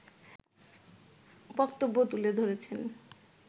বক্তব্য তুলে ধরেছেন